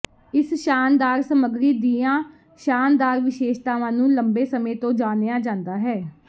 ਇਸ ਸ਼ਾਨਦਾਰ ਸਮਗਰੀ ਦੀਆਂ ਸ਼ਾਨਦਾਰ ਵਿਸ਼ੇਸ਼ਤਾਵਾਂ ਨੂੰ ਲੰਬੇ ਸਮੇਂ ਤੋਂ ਜਾਣਿਆ ਜਾਂਦਾ ਹੈ